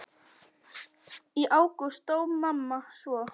Í ágúst dó mamma svo.